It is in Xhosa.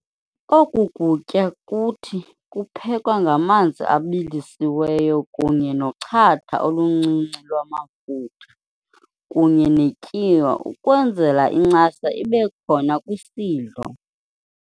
Okukutya kuthi kuphekwa ngamanzi abilisiweyo kunye nochatha oluncinci lwamafutha kunye netyiwa ukwenzela incasa ibekhona kwisidlo.